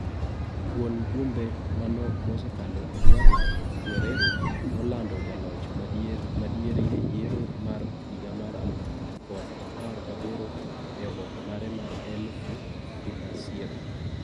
Kuon jumbe manok mosekalo Edwardo Guerrero nolando jaloch madieri eyiero mar higa mar alufu kod apar gaboro e oboke mare mar EI finaciero.